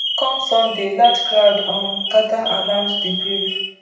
come sunday large crowd um gada around di grave